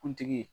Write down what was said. Kuntigi